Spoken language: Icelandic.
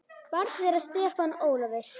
Barn þeirra Stefán Ólafur.